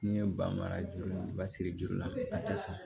N'i ye ba mara juru ba siri juru la a tɛ sɔn